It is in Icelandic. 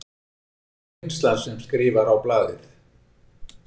Það er svo reynslan sem skrifar á blaðið.